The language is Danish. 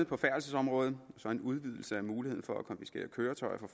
på færdselsområdet og så en udvidelse af muligheden for at konfiskere køretøjer fra